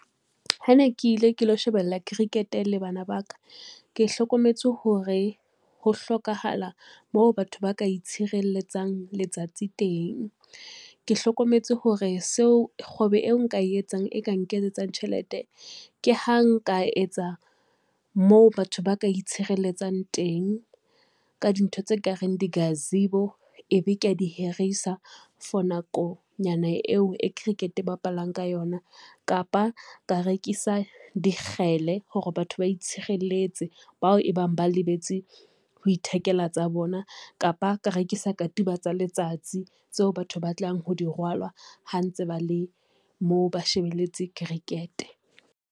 Ha ne ke ile ke lo shebella cricket-e le bana ba ka, ke hlokometse hore ho hlokahala moo batho ba ka itshireletsa letsatsi teng. Ke hlokometse hore kgwebo eo nka e etsang e ka nketsetsa tjhelete, ke ha nka etsa moo batho ba ka isireletsang teng. Ka dintho tse kareng di-gazebo e be ke a dihirisa for nakonyana eo e cricket-e bapalang ka yona, kapa ka rekisa dikgele hore batho ba itshireletse bao e bang ba lebetse ho ithekela tsa bona, kapa ka rekisa katiba tsa letsatsi tseo batho ba tlang ho di rwalwa ha ntse ba le moo ba shebeletse Cricket.